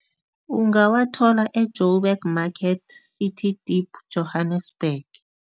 Ungawathola e-Joburg Market, City Deep, Johannesburg.